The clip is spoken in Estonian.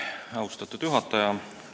Austatud juhataja!